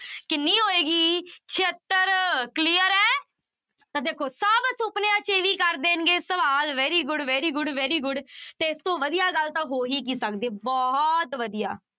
ਕਿੰਨੀ ਹੋਏਗੀ ਛਿਅੱਤਰ clear ਹੈ ਤਾਂ ਦੇਖੋ ਸਭ ਸੁੁਪਨਿਆਂ ਚ ਵੀ ਕਰ ਦੇਣਗੇ ਸਵਾਲ very good, very good, very good ਤੇ ਇਸ ਤੋਂ ਵਧੀਆ ਗੱਲ ਤਾਂ ਹੋ ਹੀ ਕੀ ਸਕਦੀ ਹੈ ਬਹੁਤ ਵਧੀਆ।